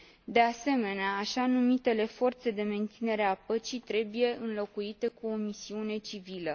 De asemenea, așa numitele forțe de menținere a păcii trebuie înlocuite cu o misiune civilă.